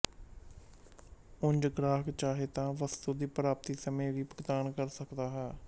ਉਂਝ ਗਾਹਕ ਚਾਹੇ ਤਾਂ ਵਸਤੂ ਦੀ ਪ੍ਰਾਪਤੀ ਸਮੇਂ ਵੀ ਭੁਗਤਾਨ ਕਰ ਸਕਦਾ ਹੈ